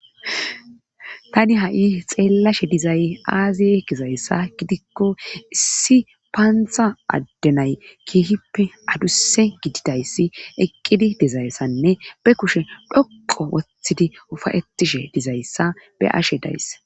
tani ha7i xeellashe dizay aaziye gizayssa gidikko issi paantha addenay keehippe adusse gididayssi eqqidi dizayssanne be kushe dhoqo wothidi ufayetishe dizayssa be ashe dayss